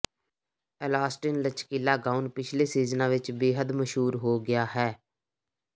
elastin ਲਚਕੀਲਾ gown ਪਿਛਲੇ ਸੀਜ਼ਨਾਂ ਵਿੱਚ ਬੇਹੱਦ ਮਸ਼ਹੂਰ ਹੋ ਗਿਆ ਹੈ